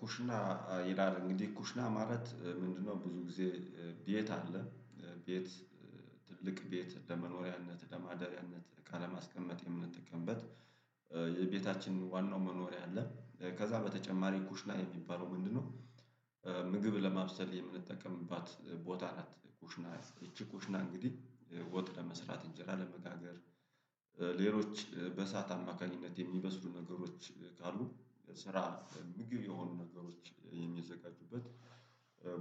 ኩሽና ይላል እንግዲህ ኩሽና ማለት ምንድነው ብዙ ጊዜ ቤት አለ ቤት ትልቅ ቤት ለመኖሪያነት ለማደሪያነት እቃ ለማስቀመጥ የምንጠቀምበት የቤታችን ዋናው መኖሪያ አለ ከዛ በተጨማሪ ኩሽና የሚባለው ምንድነው? ምግብ ለማብሰል የምንጠቀምባት ቦታ ናት ኩሽና እቺ ኩሽና እንግዲህ ወጥ ለመስራት እንጀራ ለመጋገር ሌሎች በሰአት አማካኝነት የሚመስሉ ነገሮች ካሉ ስራ ምግብ የሆኑ ነገሮች የሚዘጋጁበት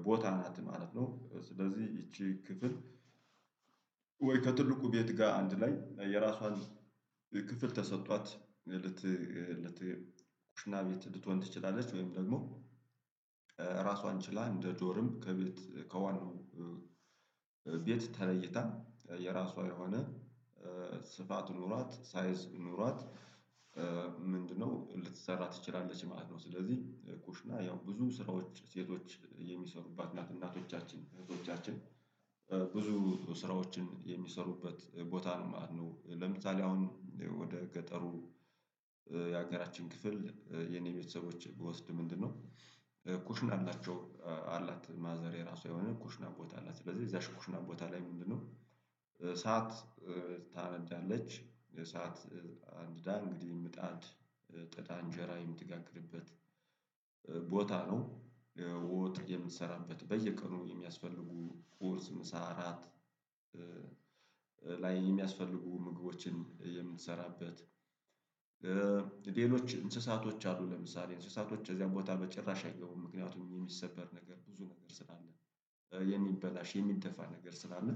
ቦታ ናት ማለት ነው። ስለዚህ ይቺ ክፍል ወይ ከትልቁ ቤት ጋር አንድ ላይ የራሷን ክፍል ተሰጥቷት ልት ልት ኩሽና ቤት ልትሆን ትችላለች ወይም ደግሞ ራሱ አንችላ እንደ ዶርም ከቤት ከዋናው ቤት ተለይታ የራሷ የሆነ ኖሯት ሳይዝ ኖሯት ምንድነው ልትሰራ ትችላለች ማለት ነው። ስለዚህ ኩሽና ያው ብዙ ስራዎች ሴቶች የሚሰሩባት ናት እናቶቻችን እህቶቻችን ብዙ ስራዎችን የሚሰሩበት ቦታ ነው። ለምሳሌ አሁን ወደ ገጠሩ ክፍል የኔ ቤተሰቦች ብወስድ ምንድነው? ኩሽን አላቸው አላት ማዘር የራሱ የሆነ ኩሽና ቦታ አላት ስለዚህ እዛ ኩሹና ቦታ ላይ ምንድነው እሳት ታነጃለች የሰዓት አንድዳ እንግዲህ ምጣድ ጥዳ እንጀራ የምትጋግርበት ቦታ ነው። ወጥ የምንሰራበት በየቀኑ የሚያስፈልጉ ፖርስ ምሳ አራት ላይ የሚያስፈልጉ ምግቦችን የምንሰራበት ሌሎች እንስሳቶች አሉ ለምሳሌ እንስሳቶች እዚያም ቦታ በጭራሽ አይገቡም ምክንያቱም የሚሰበር ነገር ብዙ ነገር ስላለ የሚበላሽ የሚደፋ ነገር ስላለ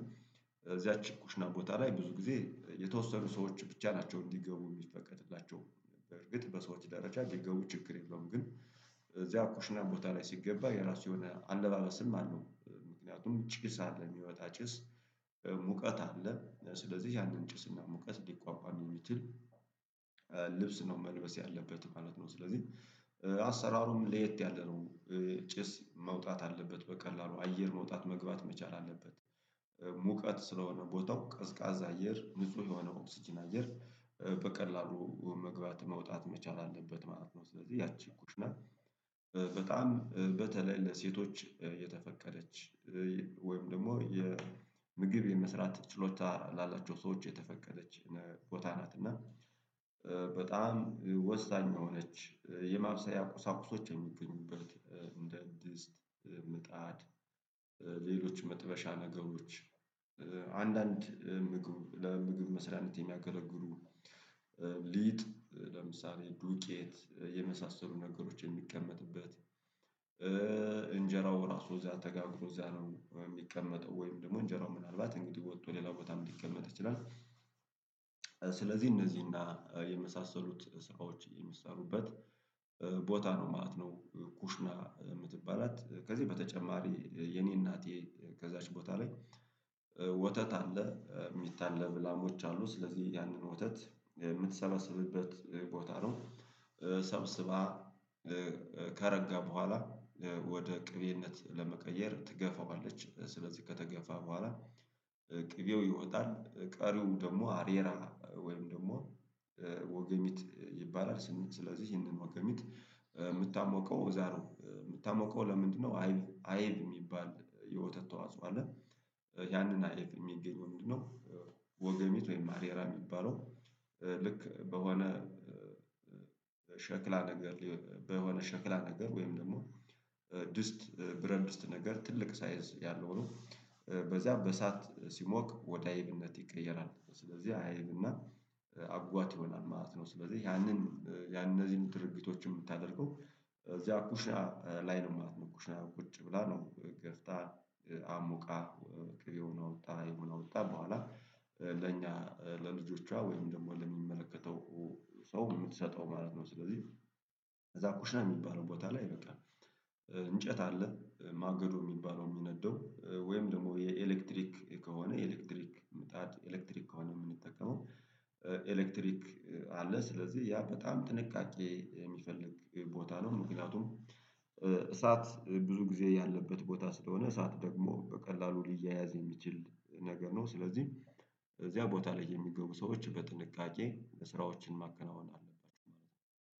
እዚያች ኩሽና ቦታ ላይ ብዙ ጊዜ የተወሰዱ ሰዎች ብቻ ናቸው እንዲገቡ የሚፈቀድላቸው እርግጥ በሰዎች ደረጃ እንዲገቡ ችግር የለውም። ግን እዚያ ኩሽና ቦታ ላይ ሲገባ የራሱ የሆነ አለባበስም አለው ምክንያቱም ጭስ አለ የሚመጣ ጭስ ሙቀት አለ ስለዚህ ያንን ጭስና ሙቀት ሊቋቋም የሚችል ልብስ ነው መልበስ ያለበት ማለት ነው። ስለዚህ አሰራሩም ለየት ያለ ነው ጭስ መውጣት አለበት በቀላሉ አየር መውጣት መግባት መቻል አለበት ሙቀት ስለሆነ ቦታው ቀዝቃዛ አየር ንጹህ የሆነ ኦክስጅን አደር በቀላሉ መግባት መውጣት መቻል አለበት ማለት ነው። ስለዚህ ያቺ ኩሽና በጣም በተለይ ለሴቶች የተፈቀደች ወይም ደግሞ የምግብ የመስራት ችሎታ ላላቸው ሰዎች የተፈቀደች ቦታ ናት። እና በጣም ወሳኝ የሆነች የማብሰያ ቁሳቁሶች የሚገኙበት እንደ ድስት ምጣድ ሌሎች መጥበሻ ነገሮች አንዳንድ ምግብ ለምግብ መስሪያነት የሚያገለግሉ ሊጥ ለምሳሌ ደቄት የመሳሰሉ ነገሮች የሚቀመጥበት እንጀራው ራሱ እዚያ ተጋግሮ እዚያ ነው የሚቀመጠው ወይም ደግሞ እንጀራው ምናልባት እንግዲህ ወጥቶ ሌላ ቦታም ሊቀመጥ ይችላል ስለዚህ እንደዚህ እና የመሳሰሉት ስራዎች የሚሰሩበት ቦታ ነው። ማት ነው። ኩሽና የምትባላት ከዚህ በተጨማሪ የኔ እናቴ ከዛች ቦታ ላይ ወተት አለ የሚታለብ ላሞች አሉ ስለዚህ ያንን ወተት የምትሰበስብበት ቦታ ነው። ሰብስባ ከረጋ በኋላ ወደ ቅቤነት ለመቀየር ትገፋዋለች ስለዚህ ከተገፋ በኋላ ቅቤው ይወጣል ቀሪው ደግሞ አሬራ ወይም ደግሞ ወገሚት ይባላል ስለዚህ ይሄንን ወገሚት የምታሞቀው እዛ ነው የምታሞቀው ለምንድነው አይብ የሚባል የወተት ተዋጽኦ አለ ያንን አይብ የሚገኘው ምንድነው? ወገሜት ወይም አሬራ የሚባለው ልክ በሆነ ሸክላ ነገር በሆነ ሸክላ ነገር ወይም ደግሞ ድስት ብረንት ድስት ነገር ትልቅ ሳይዝ ያለው ነው በዚያም በእሳት ሲሞቅ ወደ አይብነት ይቀየራል ስለዚህ አይብና አጓት ይሆናል ማለት ነው። ስለዚህ ያንን ያንን እነዚህን ድርጊቶችን የምታደርገው እዚያ ኩሻ ላይ ነው ማለት ነው። ኩሻ ቁጭ ብላ ነው ገፍታ አሞቃ የሆነ ወጣ በኋላ ለኛ ለልጆቿ ወይም ደግሞ ለሚመለከተው ሰው የምትሰጠው ማለት ነው። ስለዚህ ከዛ ኩሽና የሚባለው ቦታ ላይ ይበቃል እንጨት አለ ማገዶ የሚባለው የሚነደው ወይም ደግሞ የኤሌክትሪክ ከሆነ ኤሌክትሪክ ምጣት ኤሌክትሪክ ከሆነ የምንጠቀመው ኤሌክትሪክ አለ ስለዚህ ያ በጣም ጥንቃቄ የሚፈልግ ቦታ ነው። ምክንያቱም እሳት ብዙ ጊዜ ያለበት ቦታ ስለሆነ እሳት ደግሞ በቀላሉ ሊያያዝ የሚችል ነገር ነው። ስለዚህ እዚያ ቦታ ላይ የሚገቡ ሰዎች በጥንቃቄ ለስራዎችን ማከናወን አለባቸው ማለት ነው